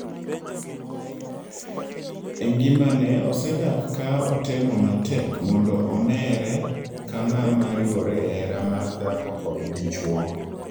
Engimane, osedak ka otemo matek mondo oneere ka ng'ama riwore e hera mar dhako kod dichuo.